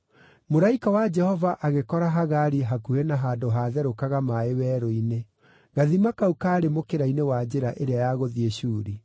Mũraika wa Jehova agĩkora Hagari hakuhĩ na handũ haatherũkaga maaĩ werũ-inĩ; gathima kau kaarĩ mũkĩra-inĩ wa njĩra ĩrĩa ya gũthiĩ Shuri.